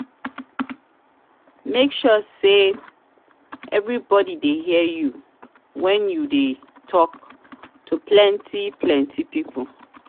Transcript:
make sure sey everybody dey hear you wen you dey tok to plenty plenty pipo.